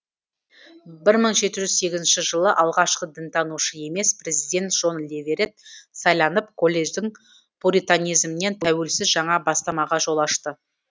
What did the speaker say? бір мың жеті жүз сегізінші жылы алғашқы дінтанушы емес президент жон леверет сайланып колледждің пуританизмінен тәуелсіз жаңа бастамаға жол ашты